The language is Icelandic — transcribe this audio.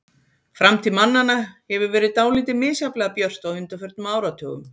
Framtíð mannanna hefur verið dálítið misjafnlega björt á undanförnum áratugum.